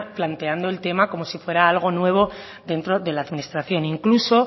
planteando el tema como si fuera algo nuevo dentro de la administración incluso